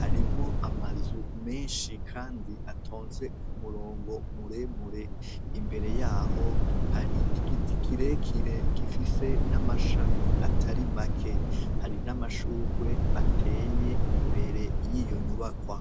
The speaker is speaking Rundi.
Harimwo amazu meshi kandi atonze kumurongo muremure, imbere yaho hari Igiti kirekire gifise n'amashami atari make. Hari n'Amashurwe ateye imbere yiyo nyubwakwa.